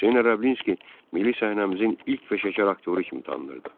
Hüseyn Ərəblinski milli səhnəmizin ilk peşəkar aktyoru kimi tanınırdı.